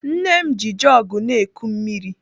Nne m ji jọgụ na-eku mmiri.